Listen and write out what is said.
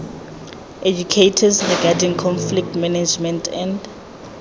educators regarding conflict management and